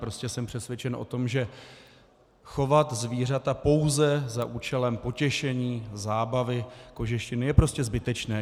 Prostě jsem přesvědčen o tom, že chovat zvířata pouze za účelem potěšení, zábavy, kožešiny je prostě zbytečné.